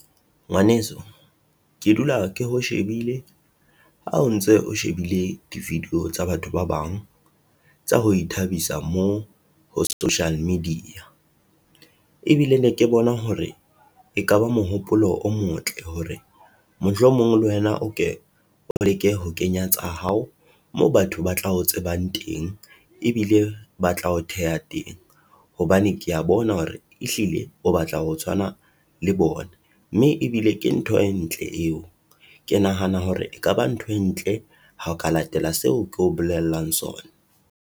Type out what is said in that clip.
Ngwaneso, ke dula ke ho shebile ha o ntse o shebile di video tsa batho ba bang tsa ho ithabisa moo ho social media, ebile ne ke bona hore ekaba mohopolo o motle hore mohlomong le wena o ke o leke ho kenya tsa hao, moo batho ba tlao tsebang teng, e bile ba tla o theha teng, hobane ke ya bona hore e hlile o batla ho tshwana le bona, mme ebile ke ntho e ntle eo. Ke nahana hore ekaba ntho e ntle ho ka latela seo ke o bolellang sona.